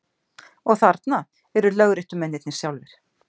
Og þarna eru lögréttumennirnir sjálfir!